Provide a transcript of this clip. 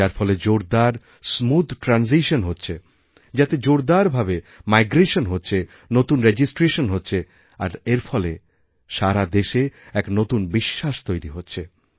যারফলে জোরদার smooth transition হচ্ছে যাতে জোরদার ভাবে মাইগ্রেশন হচ্ছে নতুন রেজিস্ট্রেশন হচ্ছে আর এর ফলে সারা দেশে এক নতুন বিশ্বাস তৈরি হচ্ছে